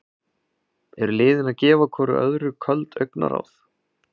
Eru liðin að gefa hvoru öðru köld augnaráð?